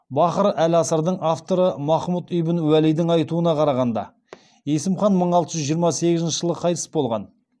бахыр әл асырардың авторы махмұд ибн уәлидің айтуына қарағанда есім хан мың алты жүз жиырма сегізінші жылы қайтыс болған